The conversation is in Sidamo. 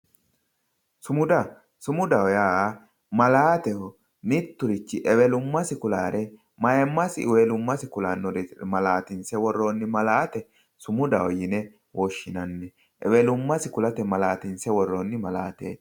sumuda sumudaho yaa malaateho mitturichi ewelummasi kulaare ayiimmasi ewelumma kulaare malaatinse woroonni malaate sumudaho yine woshinanni, ewelummasi kulate malaatinse worroonni malaateeti.